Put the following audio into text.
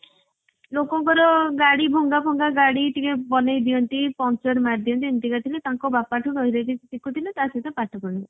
ଲୋକଙ୍କର ଗାଡି ଭଙ୍ଗ ଫଙ୍ଗା ଗାଡି ଟିକେ ବନେଇଦିଅନ୍ତି ପମ୍ପଚର ମାରି ଦିଅନ୍ତି ଏମିତିକା ଥିଲେ। ତାଙ୍କ ବାପା ଠୁ ଶିଖୁଥିଲେ ତ ସହିତ ପାଠ ବି ପଢୁଥିଲେ।